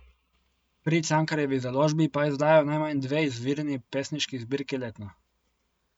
Pri Cankarjevi založbi pa izdajo najmanj dve izvirni pesniški zbirki letno.